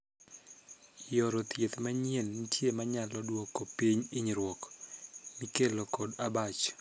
Yore thieth manyien nitie manyalo duoko piny hinyruok mikelo kod abach.